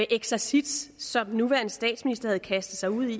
eksercits som den nuværende statsminister havde kastet sig ud i